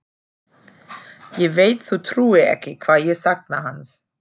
Ég veit þú trúir ekki hvað ég sakna hans.